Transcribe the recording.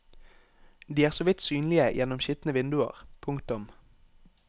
De er så vidt synlige gjennom skitne vinduer. punktum